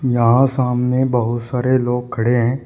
यहां सामने बहुत सारे लोग खड़े हैं।